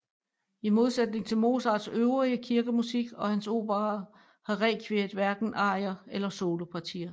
I modsætning til Mozarts øvrige kirkemusik og hans operaer har rekviet hverken arier eller solopartier